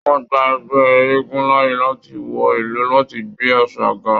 Wọn gbà ẹgbẹ eégún láàyè láti wọ ìlú láti gbé àṣà ga.